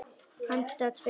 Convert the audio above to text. Handa tveimur